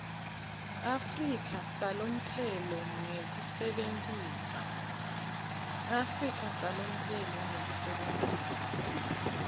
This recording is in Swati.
afrika salomphelo ngekusebentisa